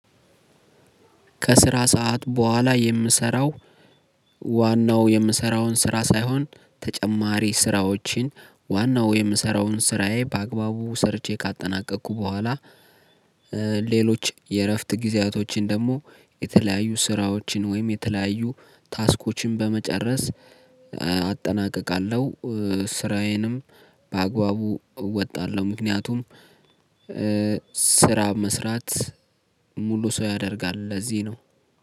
ከስራ ሰዓት በኋላ የምሰራው ዋናው የምሰራውን ስራ ሳይሆን ተጨማሪ ስራዎችን ዋናው የምሰራውን ስራዬ በአግባቡ ሰርቼ ከአጠናቀኩ በኋላ። ሌሎች የእረፍት ጊዜያቶችን ደግሞ የተለያዩ ስራዎችን ወይም የተለያዩ ታስኮችን በመጨረስ አጠናቅቃለው። ስራዬንም በአግባቡ እወጣለሁ። ምክንያቱም ስራ መስራት ሙሉ ስው ያደርጋል ለዚህ ነው